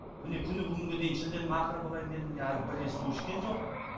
міне күні бүгінге дейін шілденің ақыры болайын деді міне әлі бір рет су ішкен жоқ